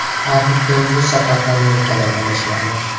Harri Keyn bu safar ham nuqtadan adashmadi.